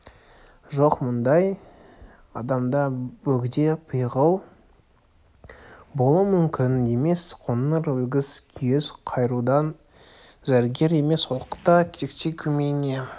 жоқ бұндай адамда бөгде пиғыл болуы мүмкін емес қоңыр өгіз күйіс қайырудан зерігер емес оқта-текте көмейіне